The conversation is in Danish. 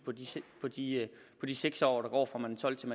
blive på de seks år der går fra man er tolv til